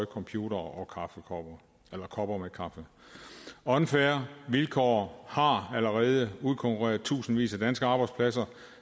computere og kopper med kaffe unfair vilkår har allerede udkonkurreret tusindvis af danske arbejdspladser